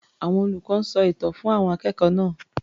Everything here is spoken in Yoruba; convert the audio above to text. Àwọn olùkọ́ ń sọ ìtàn fún àwọn akẹ́kọ̀ọ́ náá̀.